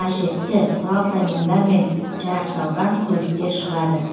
қажетті құрал саймандармен жарақталған көліктер шығады